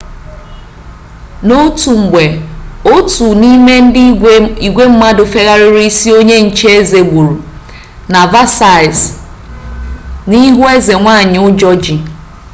n'otu mgbe otu n'ime ndị igwe mmadụ fegharịrị isi onye nche eze egburu na versailles n'ihu eze nwanyi ụjọ ji